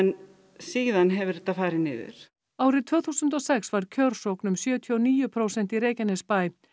síðan hefur þetta farið niður árið tvö þúsund og sex var kjörsókn um sjötíu og níu prósent í Reykjanesbæ